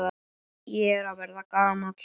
Ég er að verða gamall.